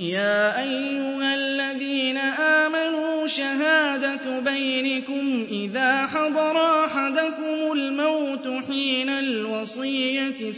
يَا أَيُّهَا الَّذِينَ آمَنُوا شَهَادَةُ بَيْنِكُمْ إِذَا حَضَرَ أَحَدَكُمُ الْمَوْتُ حِينَ الْوَصِيَّةِ